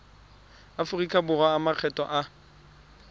aforika borwa a makgetho a